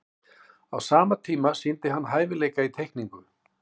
á sama tíma sýndi hann hæfileika í teikningu